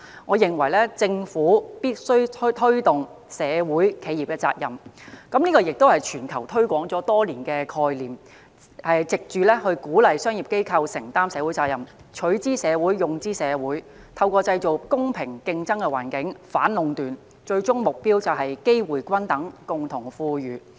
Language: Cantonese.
我認為政府必須推動企業社會責任——這亦是全球推廣多年的概念——藉此鼓勵商業機構承擔社會責任，即"取諸社會，用諸社會"，以及透過營造公平競爭的環境，反壟斷，最終目標是機會均等，共同富裕。